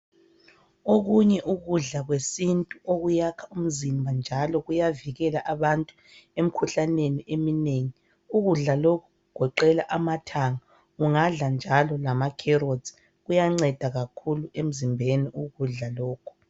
Okunye ukudla kwesintu okuyakha umzimba njalo kuyavikela abantu emikhuhlaneni eminengi . Ukudla lokhu kugoqela amathanga, ungadla njalo lama 'carrots', kuyanceda kakhulu emzimbeni ukudla lokhu.